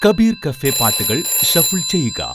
Kabir cafe പാട്ടുകൾ shuffle ചെയ്യുക